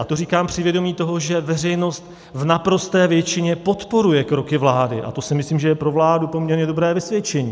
A to říkám při vědomí toho, že veřejnost v naprosté většině podporuje kroky vlády, a to si myslím, že je pro vládu poměrně dobré vysvědčení.